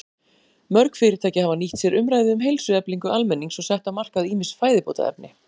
Mörg fyrirtæki hafa nýtt sér umræðu um heilsueflingu almennings og sett á markað ýmis fæðubótarefni.